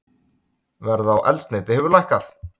Verð á eldsneyti hefur lækkað